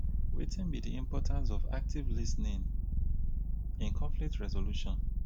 wetin be di importance of active lis ten ing in conflict resolution?